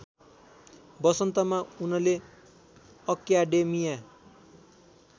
वसन्तमा उनले अक्याडेमिया